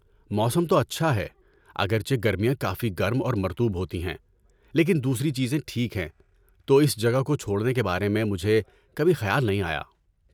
موسم تو اچھا ہے، اگرچہ گرمیاں کافی گرم اور مرطوب ہوتی ہیں، لیکن دوسری چیزیں ٹھیک ہیں تو اس جگہ کو چھوڑنے کے بارے میں مجھے کبھی خیال نہیں آیا۔